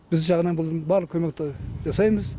біз жағынан бұның барлық көмекті жасаймыз